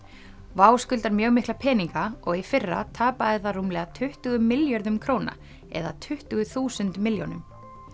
WOW skuldar mjög mikla peninga og í fyrra tapaði það rúmlega tuttugu milljörðum króna eða tuttugu þúsund milljónum